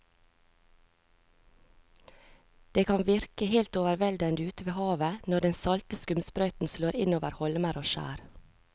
Det kan virke helt overveldende ute ved havet når den salte skumsprøyten slår innover holmer og skjær.